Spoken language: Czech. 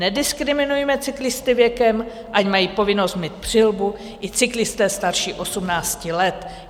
Nediskriminujme cyklisty věkem, ať mají povinnost mít přilbu i cyklisté starší 18 let.